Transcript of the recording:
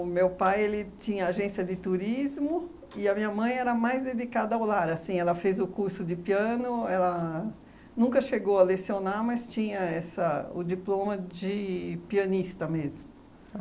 meu pai, ele tinha agência de turismo e a minha mãe era mais dedicada ao lar, assim, ela fez o curso de piano, ela nunca chegou a lecionar, mas tinha essa o diploma de pianista mesmo.